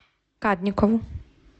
кадникову